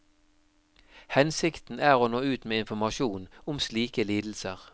Hensikten er å nå ut med informasjon om slike lidelser.